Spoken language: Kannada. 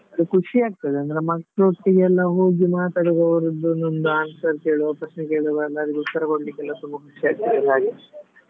ಖುಷಿ ಆಗ್ತದೆ ಅಂದ್ರೆ ಮಕ್ಳೊಟ್ಟಿಗೆಲ್ಲ ಹೋಗಿ ಮಾತಾಡುವಾಗ ಅವ್ರದ್ದು ಒಂದೊಂದು answers ಹೇಳುವಾಗ ಪ್ರಶ್ನೆ ಕೇಳುವಾಗೆಲ್ಲ ಅದಕ್ಕೆ ಉತ್ತರ ಕೊಡ್ಲಿಕ್ಕೆಲ್ಲ ತುಂಬ ಖುಷಿ ಆಗ್ತದೆಲ್ಲ ಹಾಗೆ .